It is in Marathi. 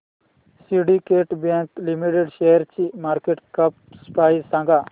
सिंडीकेट बँक लिमिटेड शेअरची मार्केट कॅप प्राइस सांगा